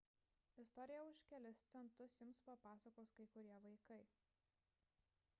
istoriją už kelis centus jums papasakos kai kurie vaikai